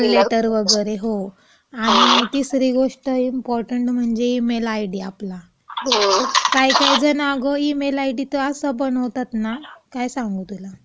Call letter वगैरे, हो. तिसरी गोष्ट इम्पॉर्टंट म्हणजे ईमेल आय डी आपला. काही काही जण आगाऊ ईमेल आय डी तर असा बनवतात ना आपला, काय सांगू तुला?